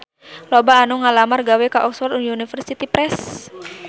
Loba anu ngalamar gawe ka Oxford University Press